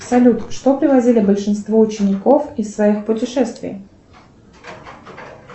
салют что привозили большинство учеников из своих путешествий